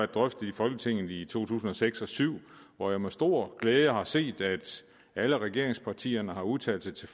drøftet i folketinget i to tusind og seks til nul syv hvor jeg med stor glæde har set at alle regeringspartierne har udtalt sig til